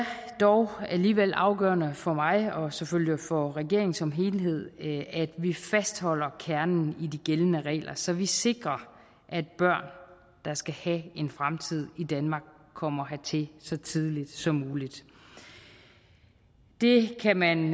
dog alligevel afgørende for mig og selvfølgelig for regeringen som helhed at vi fastholder kernen i de gældende regler så vi sikrer at børn der skal have en fremtid i danmark kommer hertil så tidligt som muligt det kan man